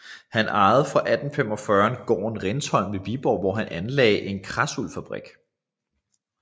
Han ejede fra 1845 gården Rindsholm ved Viborg hvor han anlagde en kradsuldsfabrik